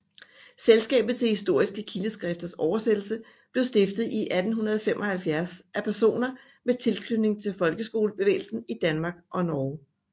Selskabet til Historiske Kildeskrifters Oversættelse blev stiftet i 1875 af personer med tilknytning til folkehøjskolebevægelsen i Danmark og Norge